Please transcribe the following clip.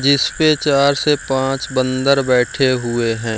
जिस पे चार से पाँच बन्दर बैठे हुए हैं।